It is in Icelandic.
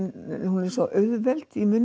hún er svo auðveld í munni